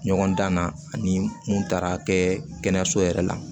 Ɲɔgɔn dan na ani mun taara kɛ kɛnɛyaso yɛrɛ la